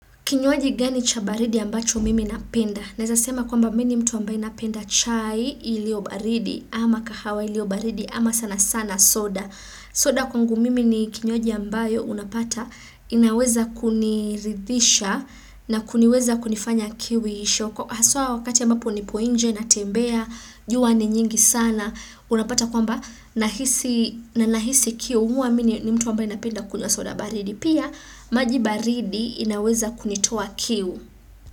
Kinywaji gani cha baridi ambacho mimi napenda. Naeza sema kwamba mimi ni mtu ambaye napenda chai iliyobaridi ama kahawa iliyobaridi ama sana sana soda. Soda kwangu mimi ni kinywaji ambayo unapata inaweza kuniridhisha na kuniweza kunifanya kiwisho. Haswa wakati ambapo nipo nje natembea, jua ni nyingi sana. Unapata kwamba nahisi kiu huwa mi ni mtu ambaye napenda kunywa soda baridi. Pia maji baridi inaweza kunitoa kiu.